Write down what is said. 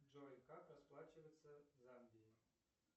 джой как расплачиваться в замбии